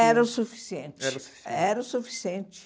Era o suficiente. Era o suficiente. Era o suficiente.